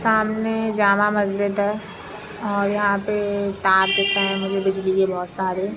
सामने जामा मस्जिद है। और यहाँ पे तार दिख रहे है मुझे बिजली की बहोत सारे--